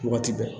Waati bɛɛ